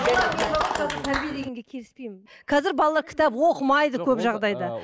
келіспеймін қазір балалар кітап оқымайды көп жағдайда